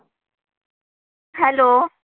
Hello.